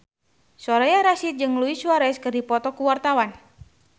Soraya Rasyid jeung Luis Suarez keur dipoto ku wartawan